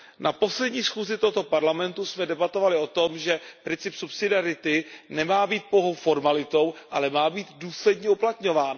Na poslední schůzi tohoto Parlamentu jsme debatovali o tom, že princip subsidiarity nemá být pouhou formalitou, ale má být důsledně uplatňován.